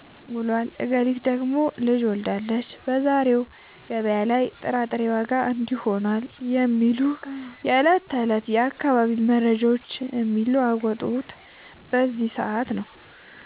ውሏል፣ እገሊት ደግሞ ልጅ ወልዳለች፣ በዛሬው ገበያ ላይ የጥራጥሬ ዋጋ እንዲህ ሆኗል" የሚሉ የዕለት ተዕለት የአካባቢው መረጃዎች የሚለዋወጡት በዚህ ሰዓት ነው።